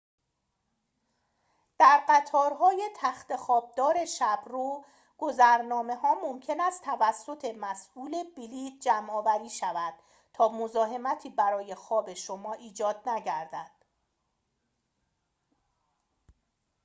در قطارهای تخت‌خواب دار شب رو گذرنامه‌ها ممکن است توسط مسئول بلیط جمع آوری شود تا مزاحمتی برای خواب شما ایجاد نگردد